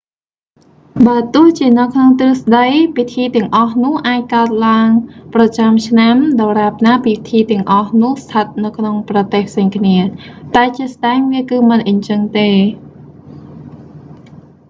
បើទោះជានៅក្នុងទ្រឹស្តី ពិធីទាំងអស់នោះអាចកើតឡើងប្រចាំឆ្នាំ ដរាបណាពិធីទាំងអស់នោះស្ថិតនៅក្នុងប្រទេសផ្សេងគ្នា តែជាក់ស្តែង វាគឺមិនអញ្ចឹងទេ